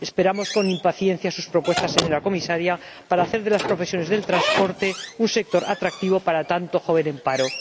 Esperamos con impaciencia sus propuestas, señora Comisaria, para hacer de las profesiones del transporte un sector atractivo para tanto joven en paro.